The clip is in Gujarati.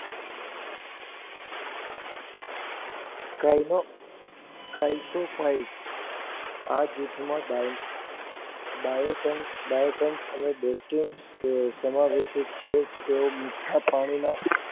કારણે કાલ શું થાય આ જૂથ માં બાળકો Bytens અને Diston સમા ગુપ્ત છે તેઓ મીઠા પાણી માં